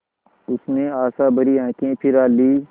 उसने आशाभरी आँखें फिरा लीं